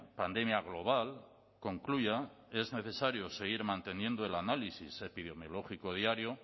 pandemia global concluya es necesario seguir manteniendo el análisis epidemiológico diario